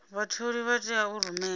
vhatholi vha tea u rumela